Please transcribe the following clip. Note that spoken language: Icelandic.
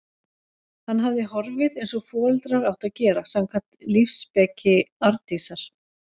Hann hafði horfið- eins og foreldrar áttu að gera, samkvæmt lífsspeki Arndísar.